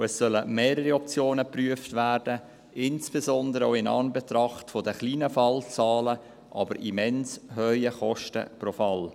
Es sollen mehrere Optionen geprüft werden, insbesondere auch in Anbetracht der kleinen Fallzahlen, aber immens hohen Kosten pro Fall.